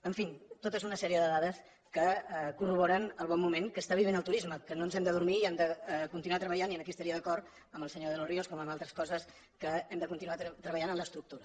en fi tota una sèrie de dades que corroboren el bon moment que està vivint el turisme que no ens hem d’adormir i hem de continuar treballant i aquí estaria d’acord amb el senyor de los ríos com en altres coses que hem de continuar treballant en l’estructura